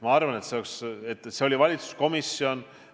Ma arvan, et see oli valitsuskomisjon.